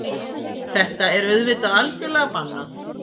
Þetta er auðvitað algjörlega bannað